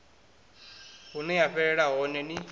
hune ya fhelela hone ni